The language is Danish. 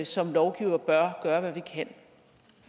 som lovgivere bør gøre hvad vi kan